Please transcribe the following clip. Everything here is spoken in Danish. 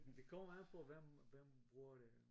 Det kommer an på hvem hvem bruger det